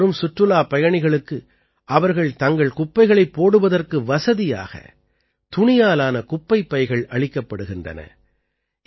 இங்கே வரும் சுற்றுலாப் பயணிகளுக்கு அவர்கள் தங்கள் குப்பைகளைப் போடுவதற்கு வசதியாக துணியால் ஆன குப்பைப் பைகள் அளிக்கப்படுகின்றன